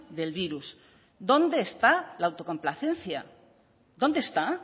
del virus dónde está la autocomplacencia dónde está